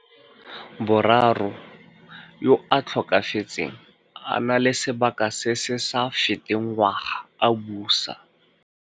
Boraro, yo a tlhokafetseng a na le sebaka se se sa feteng ngwaga a busa.